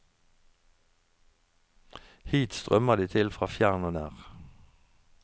Hit strømmer de til fra fjern og nær.